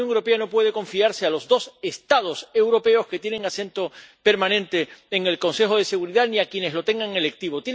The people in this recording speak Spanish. Pero la Unión Europea no puede confiarse a los dos Estados europeos que tienen asiento permanente en el Consejo de Seguridad, ni a quienes lo tengan electivo.